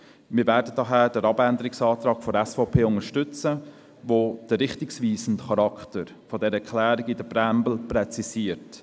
Wir werden daher den Abänderungsantrag der SVP unterstützen, der den richtungweisenden Charakter dieser Erklärung in der Präambel präzisiert.